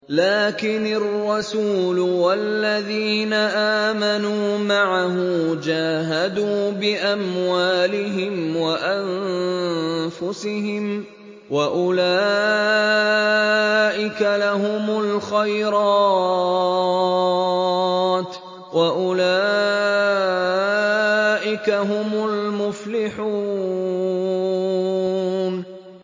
لَٰكِنِ الرَّسُولُ وَالَّذِينَ آمَنُوا مَعَهُ جَاهَدُوا بِأَمْوَالِهِمْ وَأَنفُسِهِمْ ۚ وَأُولَٰئِكَ لَهُمُ الْخَيْرَاتُ ۖ وَأُولَٰئِكَ هُمُ الْمُفْلِحُونَ